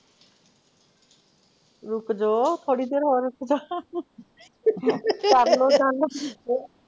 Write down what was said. ਰੁਕਜੋ, ਥੋੜੀ ਦੇਰ ਹੋਰ ਰੁਕਜੋ, ਕਰਲੋ .